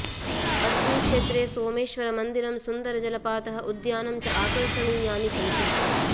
अस्मिन् क्षेत्रे सोमेश्वरमन्दिरं सुन्दरजलपातः उद्यानं च आकर्षणीयानि सन्ति